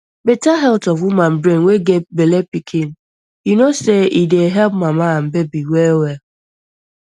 better health of woman brain wey get bellepikin you know say e dey help mama and baby well well